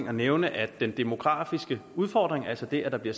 at nævne at den demografiske udfordring altså det at der bliver